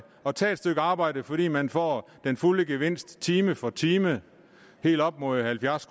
at tage et stykke arbejde fordi man får den fulde gevinst time for time helt op mod halvfjerds